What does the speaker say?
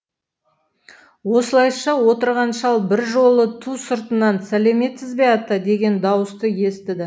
осылайша отырған шал бір жолы ту сыртынан сәлеметсіз бе ата деген дауысты естіді